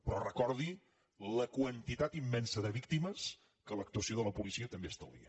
però recordi la quantitat immensa de víctimes que l’actuació de la policia també estalvia